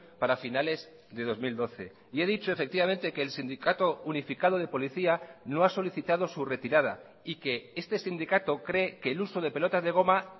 para finales de dos mil doce y he dicho efectivamente que el sindicato unificado de policía no ha solicitado su retirada y que este sindicato cree que el uso de pelotas de goma